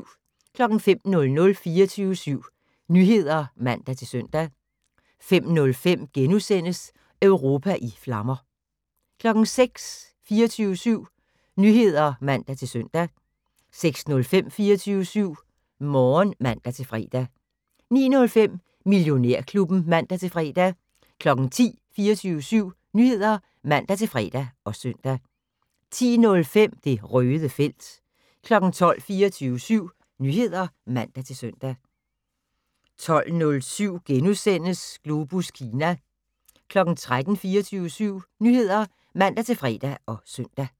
05:00: 24syv Nyheder (man-søn) 05:05: Europa i flammer * 06:00: 24syv Nyheder (man-søn) 06:05: 24syv Morgen (man-fre) 09:05: Millionærklubben (man-fre) 10:00: 24syv Nyheder (man-fre og søn) 10:05: Det Røde felt 12:00: 24syv Nyheder (man-søn) 12:07: Globus Kina * 13:00: 24syv Nyheder (man-fre og søn)